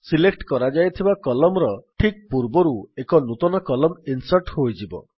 select କରାଯାଇଥିବା Columnର ଠିକ୍ ପୂର୍ବରୁ ଏକ ନୂତନ କଲମ୍ନ ଇନ୍ସର୍ଟ ହୋଇଯିବ